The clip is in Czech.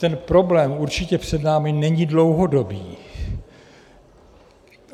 Ten problém určitě před námi není dlouhodobý.